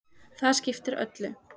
Það skiptir öllu.